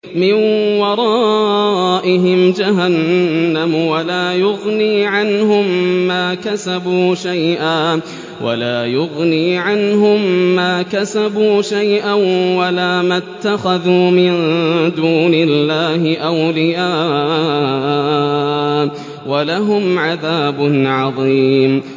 مِّن وَرَائِهِمْ جَهَنَّمُ ۖ وَلَا يُغْنِي عَنْهُم مَّا كَسَبُوا شَيْئًا وَلَا مَا اتَّخَذُوا مِن دُونِ اللَّهِ أَوْلِيَاءَ ۖ وَلَهُمْ عَذَابٌ عَظِيمٌ